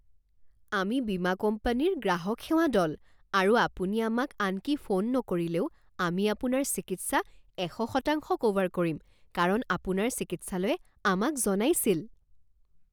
আমি বীমা কোম্পানীৰ গ্ৰাহক সেৱা দল আৰু আপুনি আমাক আনকি ফোন নকৰিলেও আমি আপোনাৰ চিকিৎসা এশ শতাংশ ক'ভাৰ কৰিম কাৰণ আপোনাৰ চিকিৎসালয়ে আমাক জনাইছিল